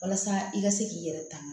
Walasa i ka se k'i yɛrɛ tanga